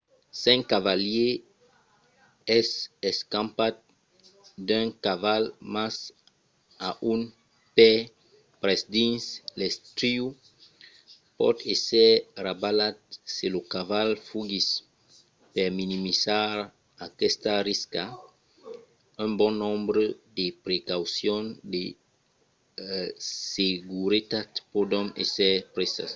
s'un cavalièr es escampat d'un caval mas a un pè pres dins l'estriu pòt èsser rabalat se lo caval fugís. per minimizar aquesta risca un bon nombre de precaucions de seguretat pòdon èsser presas